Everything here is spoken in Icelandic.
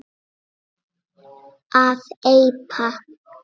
að eipa